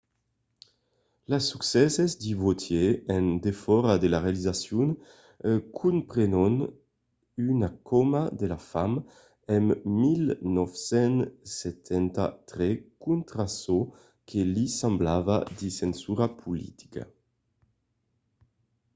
las succèsses de vautier en defòra de la realizacion comprenon una cauma de la fam en 1973 contra çò que li semblava de censura politica